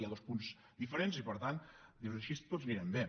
hi ha dos punts diferents i per tant dius així tots anirem bé